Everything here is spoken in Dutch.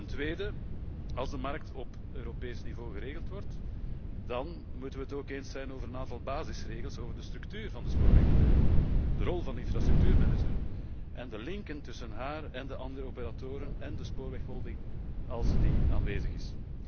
Ten tweede, als de markt op Europees niveau geregeld wordt, dan moeten wij het ook eens zijn over een aantal basisregels over de structuur van de spoorwegbedrijven, de rol van de infrastructuurmanager en de linken tussen deze en de andere operatoren en de spoorwegholding, als die aanwezig is.